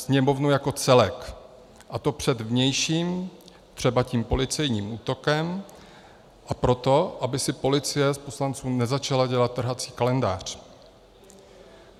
Sněmovnu jako celek, a to před vnějším, třeba tím policejním útokem, a proto, aby si policie z poslanců nezačala dělat trhací kalendář.